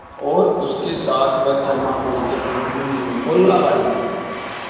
और उसके साथ वह थर्माकोल के पंख भी मीनू को लगा दिए